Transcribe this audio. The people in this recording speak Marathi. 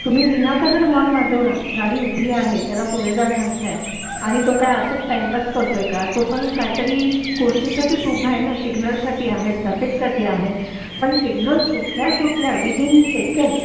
तुम्ही विनाकारण हॉर्न वाजवला ती गाडी उभी आहे तुम्ही त्याला पुढे जायला सांगताय आणि तो काय असाच टाईमपास करतोय का तू पण काहीतरी गोष्टीसाठीच उभा आहे ना सिग्नल साठी आहे ट्रॅफिक साठी आहे पण सिग्नल सुटल्या सुटल्या विदीन सेकंद